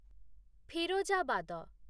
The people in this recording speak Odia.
ଫିରୋଜାବାଦ